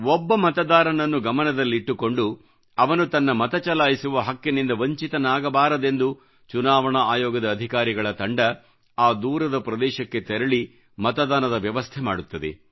ಒಬ್ಬ ಮತದಾರನನ್ನ ಗಮನದಲ್ಲಿಟ್ಟುಕೊಂಡು ಅವನು ತನ್ನ ಮತಚಲಾಯಿಸುವ ಹಕ್ಕಿನಿಂದ ವಂಚಿತನಾಗಬಾರದೆಂದು ಚುನಾವಣಾ ಆಯೋಗದ ಅಧಿಕಾರಿಗಳ ತಂಡ ಆ ದೂರದ ಪ್ರದೇಶಕ್ಕೆ ತೆರಳಿ ಮತದಾನದ ವ್ಯವಸ್ಥೆ ಮಾಡುತ್ತದೆ